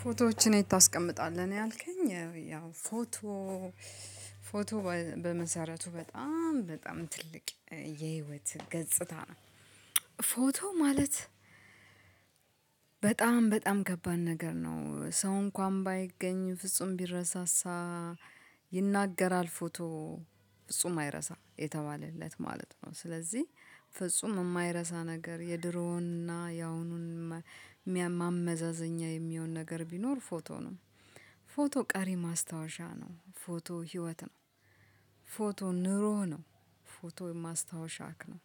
ፎቶዎችን የት ታስቀምጣለህ ነው? ያልከኝ ያው ፎቶ ፎቶ በመሰረቱ በጣም በጣም ትልቅ የህይወት ገጽታ ነው። ፎቶ ማለት። በጣም በጣም ከባድ ነገር ነው ሰው እንኳን ባይገኝ ፍጹም ቢረሳሳ ይናገራል ፎቶ። ፍጹም አይረሳም የተባለለት ማለት ነው። ስለዚህ ፍጹም የማይረሳ ነገር የድሮውንና ያሁኑን ማመዛዘኛ የሚሆን ነገር ቢኖር ፎቶ ነው። ፎቶ ቀሪ ማስታወሻ ነው ፎቶ ህይወት ነው። ፎቶ ኑሮ ነው። ፎቶ ማስታወሻክ ነው።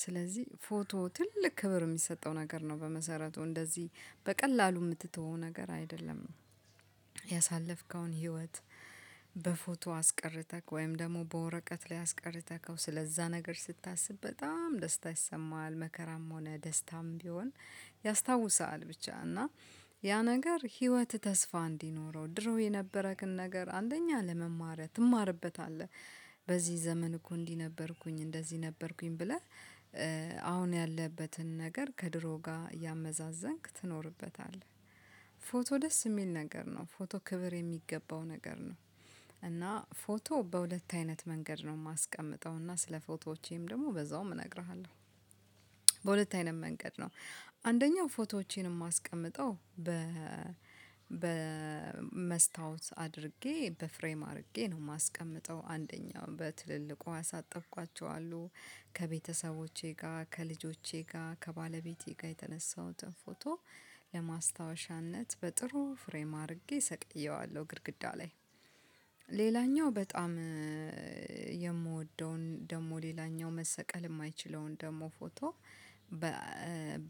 ስለዚህ ፎቶ ትልቅ ክብር የሚሰጠው ነገር ነው በመሰረቱ እንደዚህ በቀላሉ የምትተወው ነገር አይደለም። ያሳለፍከውን ህይወት በፎቶ አስቀረተክ ወይም ደግሞ በወረቀት ላይ አስቀርተከው ስለዛ ነገር ስታስብ በጣም ደስታ ይሰማሃል መከራም ሆነ ደስታም ቢሆን። ያስታውሳሀል ብቻ እና ያ ነገር ህይወትህ ተስፋ እንዲኖረው ድሮ የነበረክን ነገር አንደኛ ለመማር ትማርበታለህ። በዚህ ዘመን እኮ እንዲህ ነበርኩኝ እንደዚህ ነበርኩኝ ብለህ አሁን ያለህበትን ነገር ከድሮ ጋር እያመዛዘንክ ትኖርበታለህ። ፎቶ ደስ የሚል ነገር ነው ፎቶ ክብር የሚገባው ነገር ነው። እና ፎቶ በሁለት አይነት መንገድ ነው የማስቀምጠው እና ስለ ፎቶዎቼም ደግሞ በዛውም እነግርሃለሁ። በሁለት አይነት መንገድ ነው። አንደኛው ፎቶዎቼን የማስቀምጠው በመስታወት አድርጌ በፍሬም አድርጌ ነው የማስቀምጠው አንደኛው በትልልቁ አሳጠብኳቸው አሉ። ከቤተሰቦቼ ጋር ከልጆቼ ጋር ከባለቤቴ ጋር የተነሳሁትን ፎቶ ለማስታወሻነት በጥሩ ፍሬም አርጌ ሰቅዬዋለሁ ግድግዳ ላይ። ሌላኛው በጣም የምወደውን ደግሞ ሌላኛው መሰቀል የማይችለውን ደግሞ ፎቶ በ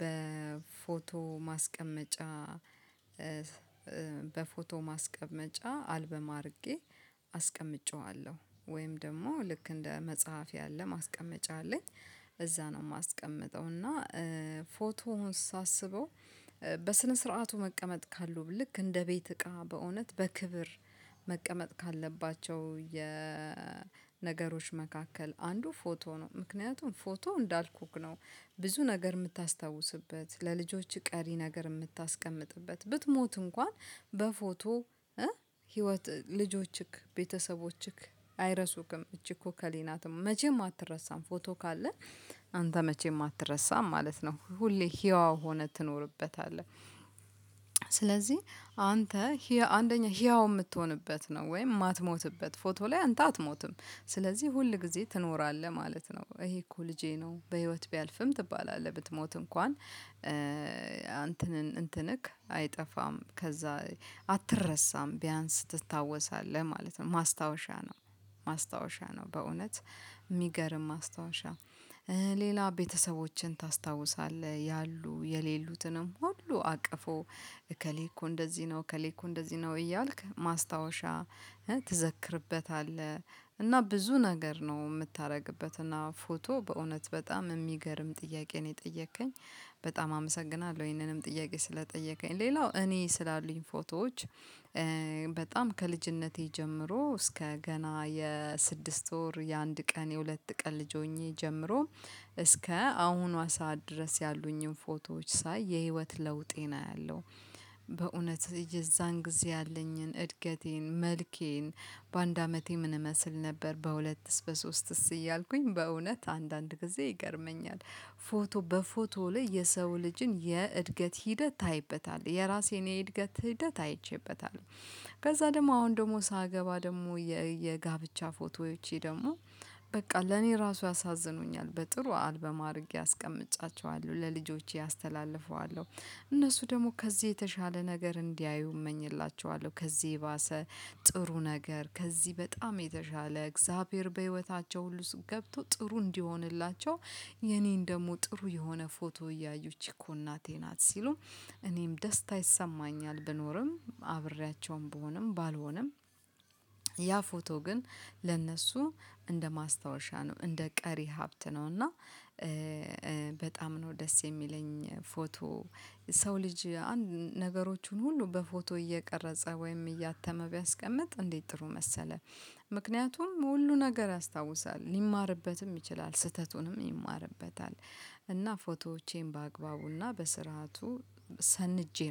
በፎቶ ማስቀመጫ በፎቶ ማስቀመጫ አልበም አርጌ አስቀምጬዋለሁ። ወይም ደግሞ ልክ እንደ መጽሐፍ ያለ ማስቀመጫ አለኝ። እዛ ነው የማስቀምጠው እና ፎቶውን ሳስበው በስነ ስርዓቱ መቀመጥ ካለው ልክ እንደ ቤት እቃ በእውነት በክብር መቀመጥ ካለባቸው የነገሮች መካከል አንዱ ፎቶ ነው። ምክንያቱም ፎቶ እንዳልኩክ ነው። ብዙ ነገር የምታስታውስበት ለልጆችህ ቀሪ ነገር የምታስቀምጥበት ብትሞት እንኳን በፎቶ ህይወት ልጆችክ ቤተሰቦችክ አይረሱክም። እቺ እኮ እከሌ ናት መቼም አትረሳም ፎቶ ካለ። አንተ መቼም አትረሳም ማለት ነው ሁሌ ህያው ሆነህ ትኖርበታለህ። ስለዚህ አንተ ህያው አንደኛ ህያው የምትሆንበት ነው ወይም የማትሞትበት ፎቶ ላይ አንተ አትሞትም ስለዚህ ሁል ጊዜ ትኖራለህ ማለት ነው። ይሄ እኮ ልጄ ነው በህይወት ቢያልፍም ትባላለህ ብትሞት እንኳን አንተንን እንትንክ አይጠፋም። ከዛ አትረሳም ቢያንስ ትታወሳለህ ማለት ነው ማስታወሻ ነው። ማስታወሻ ነው በእውነት የሚገርም ማስታወሻ። ሌላ ቤተሰቦችን ታስታውሳለህ ያሉ የሌሉትንም ሁሉ አቅፎ እከሌ እኮ እንደዚህ ነው እከሌ እኮ እንደዚህ ነው እያልክ ማስታወሻ ትዘክርበታለህ። እና ብዙ ነገር ነው የምታደርግበት እና ፎቶ በእውነት በጣም የሚገርም ጥያቄ ነው የጠየከኝ። በጣም አመሰግናለሁ ይሄንንም ጥያቄ ስለጠየቀኝ ሌላው እኔ ስላሉኝ ፎቶዎች። በጣም ከልጅነቴ ጀምሮ እስከ ገና የስድስት ወር የአንድ ቀን የሁለት ቀን ልጅ ሆኜ ጀምሮ እስከ አሁኗ ሰዓት ድረስ ያሉኝን ፎቶዎች ሳይ የህይወት ለውጤን አያለሁ። በእውነት የዛን ጊዜ ያለኝን እድገቴን መልኬን በአንድ አመቴ ምን እመስል ነበር በሁለትስ በሶስትስ እያልኩኝ በእውነት አንዳንድ ጊዜ ይገርመኛል። ፎቶ በፎቶ ላይ የሰው ልጅን የእድገት ሂደት ታይበታለህ የራሴን የእድገት ሂደት አይቼበታለሁ። ከዛ ደሞ አሁን ደሞ ሳገባ ደሞ የጋብቻ ፎቶዎቼ ደሞ በቃ ለኔ ራሱ ያሳዝኑኛል በጥሩ አልበም አርጌ አስቀምጫቸዋለሁ ለልጆቼ አስተላልፈዋለሁ። እነሱ ደግሞ ከዚህ የተሻለ ነገር እንዲያዩ እመኝላችኋለሁ ከዚህ የባሰ ጥሩ ነገር ከዚህ በጣም የተሻለ እግዚአብሔር በህይወታቸው ሁሉ ገብቶ ጥሩ እንዲሆንላቸው። የኔን ደግሞ ጥሩ የሆነ ፎቶ እያዩ እች እኮ እናቴ ናት ሲሉ እኔም ደስታ ይሰማኛል ብኖርም አብሬያቸውም ብሆንም ባልሆንም። ያ ፎቶ ግን ለእነሱ እንደ ማስታወሻ ነው እንደ ቀሪ ሀብት ነው። እና በጣም ነው ደስ የሚለኝ ፎቶ። ሰው ልጅ አንድ ነገሮቹን ሁሉ በፎቶ እየቀረጸ ወይም እያተመ ቢያስቀምጥ እንዴት ጥሩ መሰለህ? ምክንያቱም ሁሉ ነገር ያስታውሳል ሊማርበትም ይችላል ስህተቱንም ይማርበታል። እና ፎቶዎቼን በአግባቡና በስርዓቱ ሰንጄ ነው